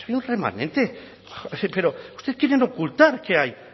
si hay remanente pero ustedes quieren ocultar que hay